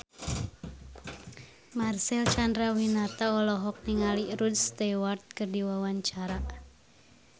Marcel Chandrawinata olohok ningali Rod Stewart keur diwawancara